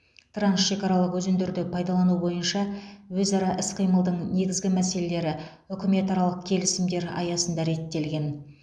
трансшекаралық өзендерді пайдалану бойынша өзара іс қимылдың негізгі мәселелері үкіметаралық келісімдер аясында реттелген